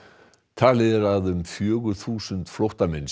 talið er að um fjögur þúsund flóttamenn